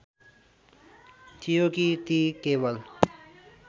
थियो कि ती केवल